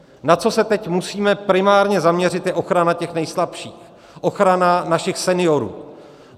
Na co se teď musíme primárně zaměřit, je ochrana těch nejslabších, ochrana našich seniorů.